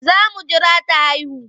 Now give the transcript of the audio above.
Za mu jira ta haihu.